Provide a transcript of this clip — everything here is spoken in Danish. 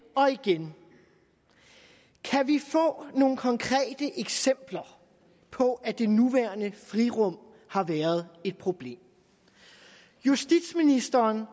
og igen kan vi få nogle konkrete eksempler på at det nuværende frirum har været et problem justitsministeren